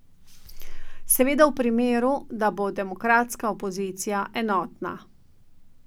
Seveda v primeru, da bo demokratska opozicija enotna.